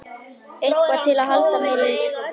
Eitthvað til að halda mér í.